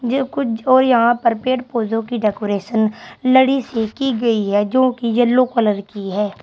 और यहां पर पेड़ पौधों की डेकोरेशन लड़ी से की गई है जोकि येलो कलर की है।